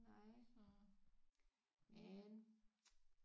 Nej men